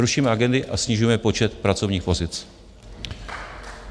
Rušíme agendy a snižujeme počet pracovních pozic.